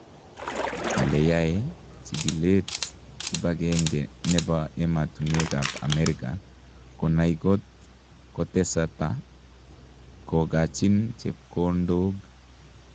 Kale yae chigileet kipagenge nepa ematunwek ap Ameriga konai kot koteseta kogachin chepkondoog